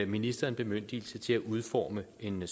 ministeren bemyndigelse til at udforme en